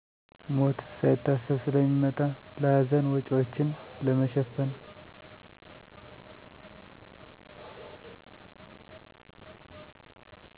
ሞት ሳይታሰብ ስለሚመጣ ለሀዘን ወጭዎችን ለመሸፈን።